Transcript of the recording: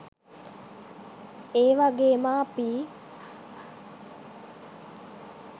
ඒ වගේම අපි